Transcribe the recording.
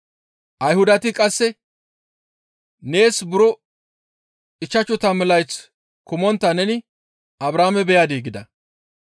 Ayhudati qasse, «Nees buro ichchashu tammu layth kumontta neni Abrahaame beyadii?» gida.